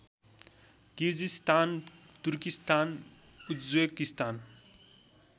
Kyrgyzstan Turkistan Uzbekistan